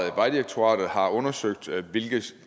at vejdirektoratet har undersøgt hvilke